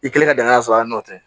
I kelen ka dankan sɔrɔ a nɔ tɛ